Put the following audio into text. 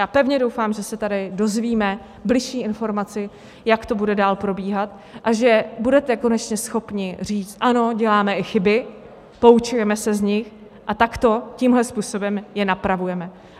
Já pevně doufám, že se tady dozvíme bližší informaci, jak to bude dál probíhat, a že budete konečně schopni říct: ano, děláme i chyby, poučujeme se z nich, a takto, tímto způsobem, je napravujeme.